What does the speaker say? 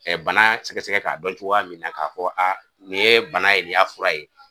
bana sɛgɛsɛgɛ k'a dɔn cogoya min na ka fɔ nin ye bana ye nin y'a fura ye